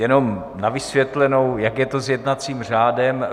Jenom na vysvětlenou, jak je to s jednacím řádem.